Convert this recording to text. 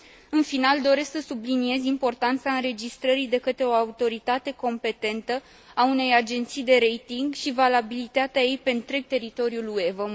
În final, doresc să subliniez importanța înregistrării de către o autoritate competentă a unei agenții de rating și valabilitatea ei pe întreg teritoriul UE.